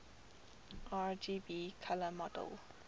rgb color model